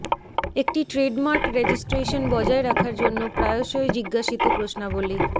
একটি trademark registration বজায় রাখার জন্য প্রায়শই জিজ্ঞাসিত প্রশ্নাবলী